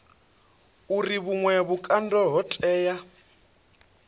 uri vhuṅwe vhukando ho tea